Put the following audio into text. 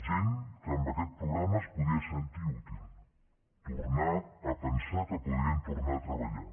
gent que amb aquest programa es podia sentir útil tornar a pensar que podrien tornar a treballar